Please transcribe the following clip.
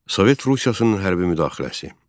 Sovet Rusiyasının hərbi müdaxiləsi.